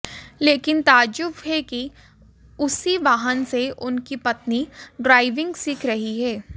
लेकिन ताज्जुब है कि उसी वाहन से उनकी पत्नी ड्राइविंग सीख रही हैं